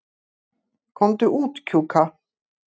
Komdu út, Kjúka.